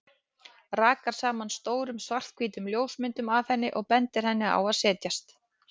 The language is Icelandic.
Rakar saman stórum, svarthvítum ljósmyndum af henni og bendir henni á að setjast.